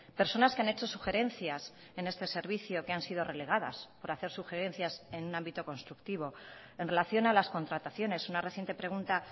personas que han hecho sugerencias en este servicio que han sido relegadas por hacer sugerencias en un ámbito constructivo en relación a las contrataciones una reciente pregunta